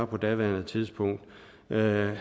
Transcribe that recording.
på daværende tidspunkt var han